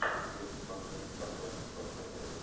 у тебя в каталоге есть с арнольдом шварценеггером